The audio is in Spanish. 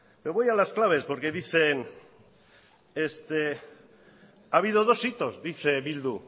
me voy a las claves porque dicen ha habido dos hitos dice bildu